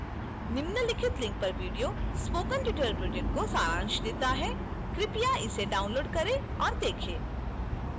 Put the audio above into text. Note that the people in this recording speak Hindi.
निम्नलिखित link पर video spoken tutorial project का सारांश देता है कृपया इसे डाउनलोड करें और देखें